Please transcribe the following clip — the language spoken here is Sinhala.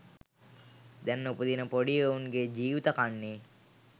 දැන් උපදින පොඩි එවුන්ගේ ජීවිත කන්නේ.